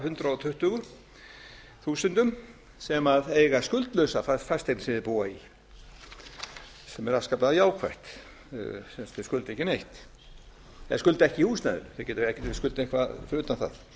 af hundrað tuttugu þúsund sem eiga skuldlausa fasteignina sem þeir búa í sem er afskaplega jákvætt sem sagt þeir skulda ekki neitt eða skulda ekki í húsnæðinu það getur verið að þeir skuldi eitthvað fyrir utan